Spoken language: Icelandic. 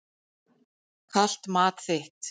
Kalt mat þitt.